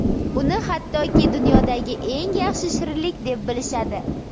Uni hattoki dunyodagi eng yaxshi shirinlik deb bilishadi.